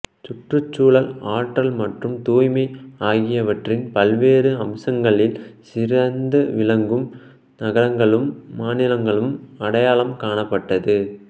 சுற்றுச்சூழல் ஆற்றல் மற்றும் தூய்மை ஆகியவற்றின் பல்வேறு அம்சங்களில் சிறந்து விளங்கும் நகரங்களும் மாநிலங்களும் அடையாளம் காணப்பட்டது